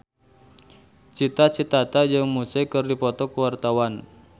Cita Citata jeung Muse keur dipoto ku wartawan